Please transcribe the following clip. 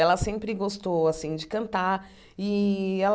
Ela sempre gostou assim de cantar.